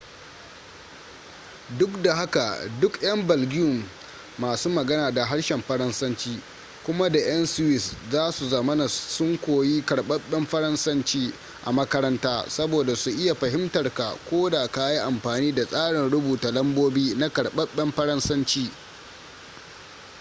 duk da haka duka'yan belgium masu magana da harshen faransanci kuma da 'yan swiss za su zamana sun koyi karbabben faransanci a makaranta saboda su iya fahimtarka ko da ka yi amfani da tsarin rubuta lambobi na karɓaɓɓen faransanci